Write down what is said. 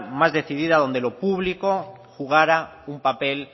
más decidida donde lo público jugara un papel